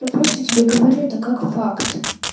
я просто тебе говорю это как факт